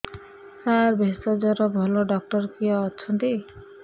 ସାର ଭେଷଜର ଭଲ ଡକ୍ଟର କିଏ ଅଛନ୍ତି